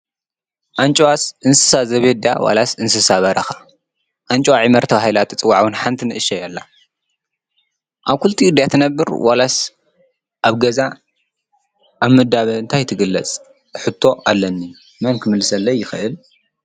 ኣንጭዋስ እንስሳ ዘቤት ድያስ ዋላስ እንስሳ በረኻ? ኣንጭዋ ዒመር ተባሂላ ውን ትፅዋዕ ውን ሓንቲ ንእሸትለይ ኣላ፡፡ ኣብ ክልቲኡ ድያ ተነብርስ ዋላ ኣብ ገዛ ፣ኣብ ምዳበ እንታይ ትግለፅ ሕቶ ኣለኒ መን ክምልሰለይ ይኽእል?